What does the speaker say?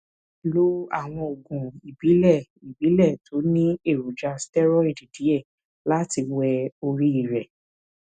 lo àwọn oògùn ìbílẹ ìbílẹ tó ní èròjà steroid díẹ láti wẹ orí rẹ